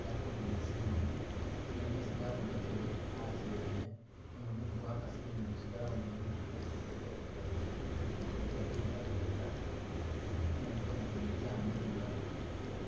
yakulile nizimoni nenga mezi gabonekele asi yene nenga mumu gwakasile nimu kyugalabo mwene ni kumezi kwene galiko gabyengabyenga nenga mikono jene jamiliya.